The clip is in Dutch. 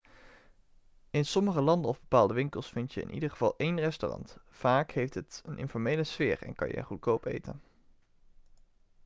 in sommige landen of bepaalde winkels vind je in ieder geval één restaurant vaak heeft het een informele sfeer en kan je er goedkoop eten